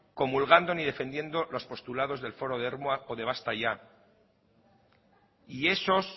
comulgando ni defendiendo los postulados del foro de ermua o des basta ya y esos